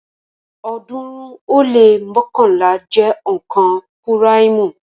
ọ̀ọ́dúnrún ó lé mọ́kànlá jẹ́ onka púráìmù